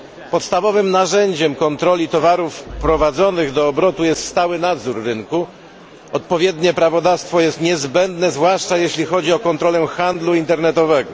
Podstawowym narzędziem kontroli towarów wprowadzonych do obrotu jest stały nadzór rynku, a odpowiednie prawodawstwo jest niezbędne, zwłaszcza jeśli chodzi o kontrolę handlu internetowego.